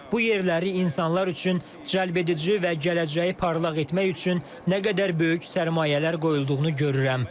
Bu yerləri insanlar üçün cəlbedici və gələcəyi parlaq etmək üçün nə qədər böyük sərmayələr qoyulduğunu görürəm.